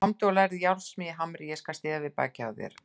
Komdu og lærðu járnsmíði í Hamri, ég skal styðja við bakið á þér.